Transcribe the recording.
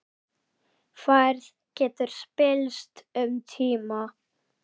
Færð getur spillst um tíma.